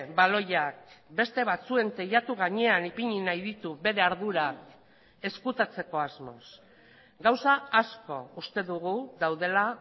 baloiak beste batzuen teilatu gainean ipini nahi ditu bere ardura ezkutatzeko asmoz gauza asko uste dugu daudela